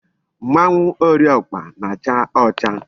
Mmanwu Ori okpa na-acha ocha